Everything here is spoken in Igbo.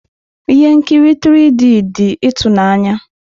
Ihe nkiri 3D dị ịtụnanya.